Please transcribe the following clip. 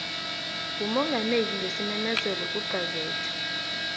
ngumongameli ngesimemezelo kugazethe